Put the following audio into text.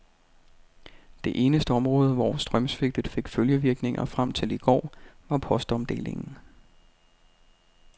Det eneste område, hvor strømsvigtet fik følgevirkninger frem til i går, var postomdelingen.